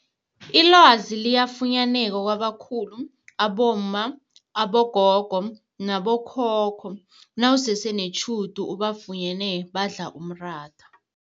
Ilwazi liyafunyaneka kabakhulu abomma, abogogo nabokhokho nawusese netjhudu ubafunyene badla umratha.